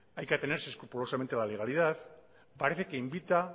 hay que atenerse escrupulosamente a la legalidad parece que invita